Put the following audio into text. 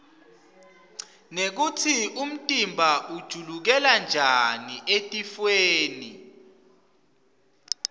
nekutsi umtimba utiuikela njani etifwoni